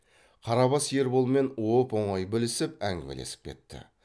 қарабас ерболмен оп оңай білісіп әңгімелесіп кетті